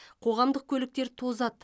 қоғамдық көліктер тозады